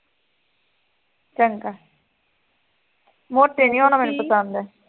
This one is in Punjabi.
ਚੰਗਾ ਮੋਟੇ ਨੀ ਹੋਣਾ ਮੈਨੂੰ ਪਸੰਦ